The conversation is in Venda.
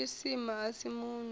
wa tshisima a si munwi